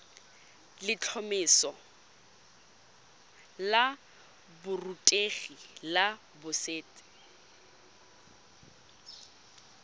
letlhomeso la borutegi la boset